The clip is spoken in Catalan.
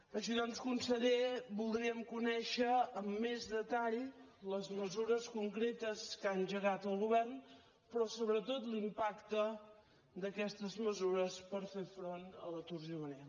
així doncs conseller voldríem conèixer amb més detall les mesures concretes que ha engegat el govern però sobretot l’impacte d’aquestes mesures per fer front a l’atur juvenil